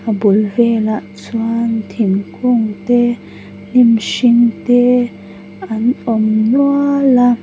a bul velah chuan thingkungte hnim hring te an awm nual a.